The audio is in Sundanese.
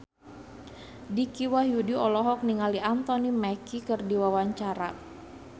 Dicky Wahyudi olohok ningali Anthony Mackie keur diwawancara